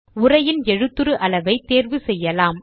உரையின் எழுதுரு அளவை தேர்வு செய்யலாம்